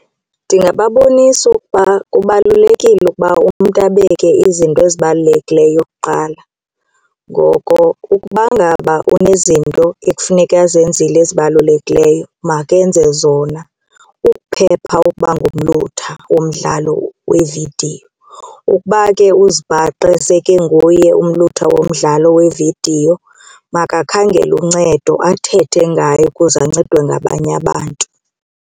Ndingababonisa ukuba kubalulekile ukuba umntu abeke izinto ezibalulekileyo kuqala ngoko ukuba ngaba unezinto ekufuneka ezenzile ezibalulekileyo makenze zona ukuphepha ukuba ngumlutha womdlalo wevidiyo. Ukuba ke uzibhaqe sekenguye umlutha womdlalo wevidiyo makakhangele uncedo athethe ngayo kuze ancedwe ngabanye abantu.